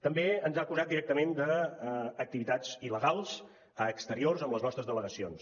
també ens ha acusat directament d’activitats il·legals a exterior amb les nostres delegacions